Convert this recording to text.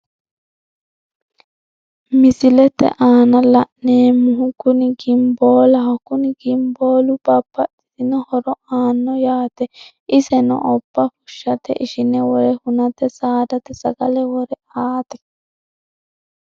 Misilete aana la'neemmohu kuni gimboolaho kuni gimboolu babbaxitino horo aanno yaate iseno obba fushshate ishine wore hunate saadate sagale wore aate.